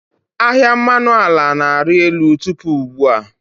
Ahịa mmanụ ala na-arị elu tupu ugbu a.